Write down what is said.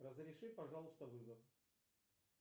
разреши пожалуйста вызов